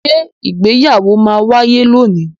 Ṣé ìgbéyàwó ma wáyé lónìí?